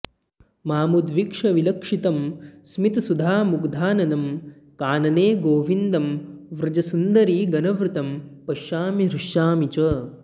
मामुद्वीक्ष्य विलक्षितं स्मितसुधामुग्धाननं कानने गोविन्दं व्रजसुन्दरीगणवृतं पश्यामि हृष्यामि च